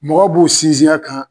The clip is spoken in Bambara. Mɔgɔ b'u sinsin a kan